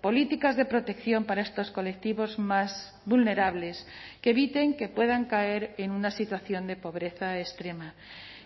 políticas de protección para estos colectivos más vulnerables que eviten que puedan caer en una situación de pobreza extrema